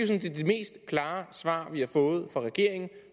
set det mest klare svar vi har fået fra regeringen